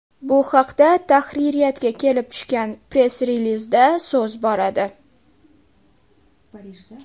Bu haqda tahririyatga kelib tushgan press-relizda so‘z boradi.